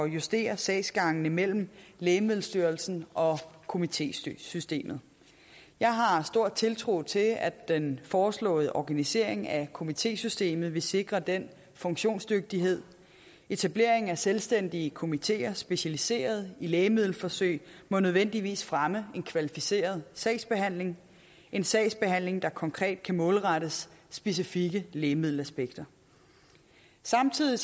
justere sagsgangene mellem lægemiddelstyrelsen og komitésystemet jeg har stor tiltro til at den foreslåede organisering af komitésystemet vil sikre den funktionsdygtighed etableringen af selvstændige komiteer specialiseret i lægemiddelforsøg må nødvendigvis fremme en kvalificeret sagsbehandling en sagsbehandling der konkret kan målrettes specifikke lægemiddelaspekter samtidig